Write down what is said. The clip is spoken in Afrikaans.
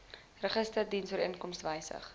register dienooreenkomstig wysig